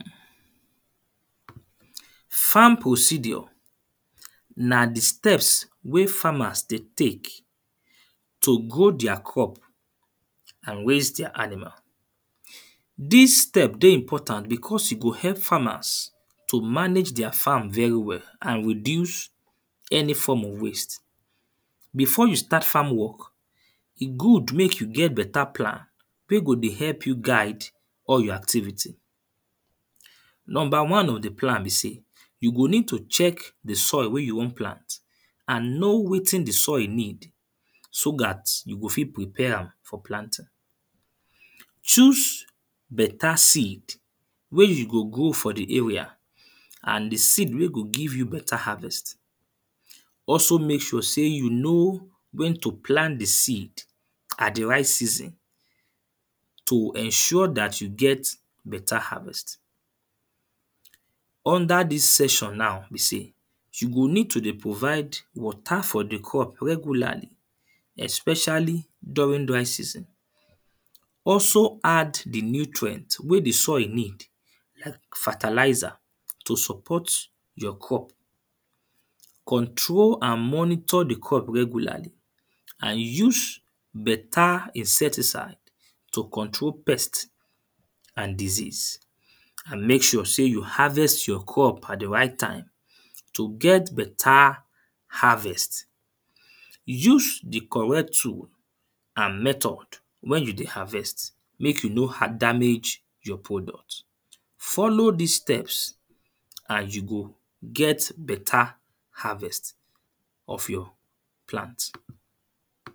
Farm procedure na the steps wey farms dey take to grow their crop and raise their animal. This step dey important because e go help farmers to manage their farm very well and reduce any form of waste. Before you start farm work, e good make you get better plan wey go dey help you guide all your activity. Number one of the plan be say you go need to check the soil wey you wan plant and know wetin the soil need, so that you go fit prepare am for planting. Choose better seed wey you go grow for the area, and the seed wey go give you better harvest. Also make sure say you know when to plant the seed at the right season to ensure that you get better harvest. Under this session now be say, you need to dey provide water for the crop regularly, especially during dry season. Also add the nutrient wey the soil need, fertilizer to support your crop. Control and monitor the crop regularly, and use better insecticide to control pest and disease. And make sure say you harvest your crop at the right time. To get better harvest, use the correct tool and method when you dey harvest make you no a damage your product. Follow these steps and you go get better harvest of your plant.